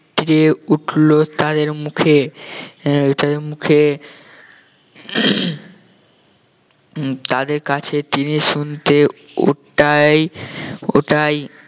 উঠলো তাদের মুখে আহ তাদের মুখে তাদের কাছে তিনি শুনতে ওটাই ওটাই